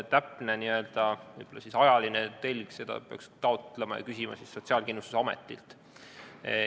Täpse ajalise telje kohta peaks küsima Sotsiaalkindlustusametilt.